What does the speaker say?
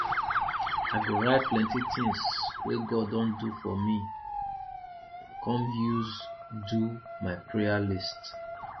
i go write plenty things we god don do for me come use do my prayer list